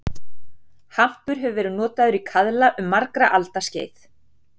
Hampur hefur verið notaður í kaðla um margra alda skeið.